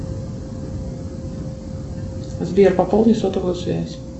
сбер пополни сотовую связь